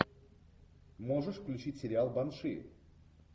можешь включить сериал банши